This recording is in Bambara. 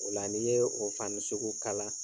O la n'i ye o fani sugu kala.